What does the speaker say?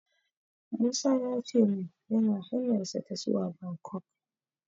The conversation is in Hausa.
Musa ya ce min yana hanyarsa ta zuwa Bangkok.